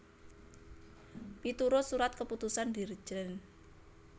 Miturut Surat Keputusan Dirjen